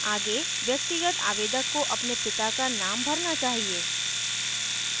आगे व्यक्तिगत आवेदक को अपने पिता का name भरना चाहिए